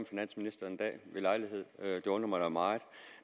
finansministeren en dag ved lejlighed det undrer mig da meget